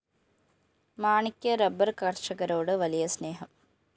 മാണിക്ക് റബ്ബർ കര്‍ഷകരോട് വലിയ സ്‌നേഹം